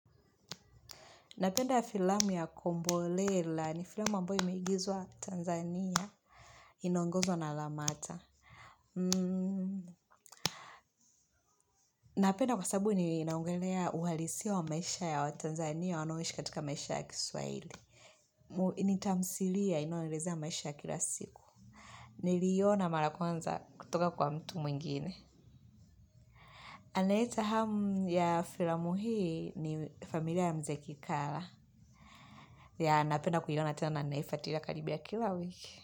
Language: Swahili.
Napenda filamu ya kombolela, ni filamu ambayo imeigizwa Tanzania inoongozwa na Lamata. Napenda kwa sababu ni inaongelea uhalisia wa maisha ya watanzania wanaoishi katika maisha ya kiswahili. Ni tamthilia inayoelezea maisha ya kila siku. Niliona mara ya kwanza kutoka kwa mtu mwingine. Anaeleta hamu ya filamu hii ni familia ya mzee Kikala. Napenda kuiona tena na ninaifuatilia karibia kila wiki.